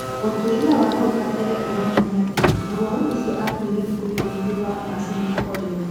ũtwĩria wa hau kabere ũronania atĩ mũrwaru ũcio akuire thikũikũmi thutha wa macini kũhorio.